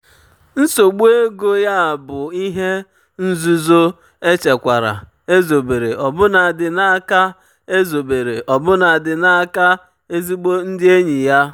nsogbu ego ya ka bụ ihe um nzuzo um echekwara ezobere ọbụnadị n'aka ezobere ọbụnadị n'aka um ezigbo ndị enyi ya.